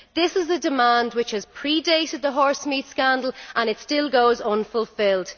This is a demand which has pre dated the horsemeat scandal, and it still goes unfulfilled.